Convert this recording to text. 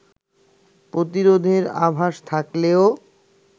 প্রতিরোধের আভাস থাকলেও